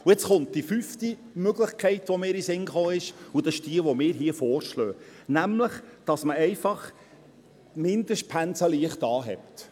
Und jetzt kommt die fünfte Möglichkeit, die mir in den Sinn gekommen ist, und das ist diejenige, die wir hier vorschlagen: nämlich, dass man einfach die Mindestpensen leicht anhebt.